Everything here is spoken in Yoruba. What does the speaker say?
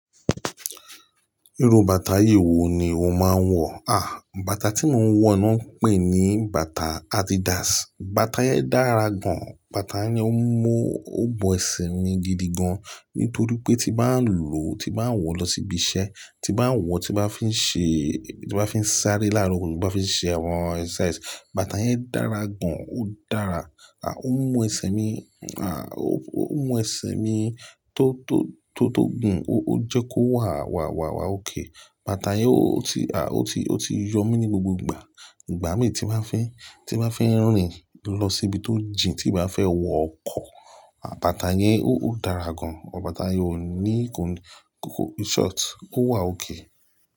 Irú bàtà yii wo ni o máa ń wọ̀? À, bàtà tí mo ń wọ̀ náà pé ní bàtà Adidas. Bàtà yẹn dára gan. Bàtà yẹn ó mú, ó bọ́ ẹsẹ̀ mi gidi gan. Nítorí pé tí bá ń lò, tí bá ń wọ̀ lọ síbi iṣẹ́, tí bá ń wọ̀, tí bá fi ń ṣe, tí bá fi ń sáré lára òkòwò, tí bá fi ń ṣe àwọn exercise, bàtà yẹn dára gan. Ó dára. À, ó mú ẹsẹ̀ mi, à, ó, ó mú ẹsẹ̀ mi tó, tó, tó, tó gùn. Ó, ó jẹ́ kó wà, wà, wà, wà ókay. Bàtà yẹn ó ti, à, ó ti, ó ti yọ mí ní gbogbo ìgbà. Ìgbà mí tí bá fẹ́, tí bá fẹ́ rìn lọ síbi tó jìn, tí bá fẹ́ wọ ọkọ̀, à, bàtà yẹn ó, ó dára gan. Bàtà yẹn ò ní kòkó, in short, ó wà ókè.